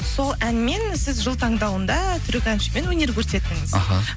сол әнмен сіз жыл таңдауында түрік әншімен өнер көрсеттіңіз аха